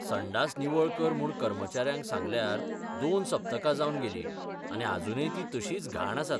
संडास निवळ कर म्हूण कर्मचाऱ्यांक सांगल्यार दोन सप्तकां जावन गेलीं आनी आजूनय तीं तशींच घाण आसात.